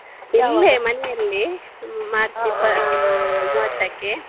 ಇಲ್ಲೇ ಮನೆಯಲ್ಲಿ ಮಾರ್ಚ್ ಇಪ್ಪ~ ಆಹ್ ಮೂವತ್ತಕ್ಕೆ.